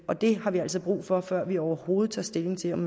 og det har vi altså brug for før vi overhovedet tager stilling til om